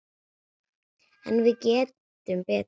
En við gerum betur.